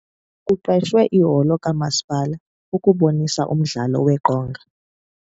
Kuqeshwe iholo kamasipala ukubonisa umdlalo weqonga.